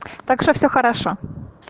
так что всё хорошо